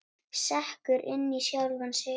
Sekkur inn í sjálfan sig.